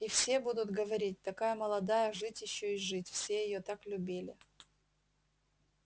и все будут говорить такая молодая жить ещё и жить все её так любили